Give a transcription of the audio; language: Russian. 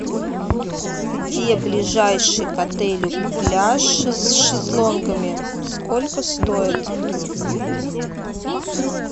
где ближайший к отелю пляж с шезлонгами сколько стоит